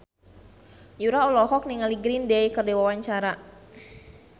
Yura olohok ningali Green Day keur diwawancara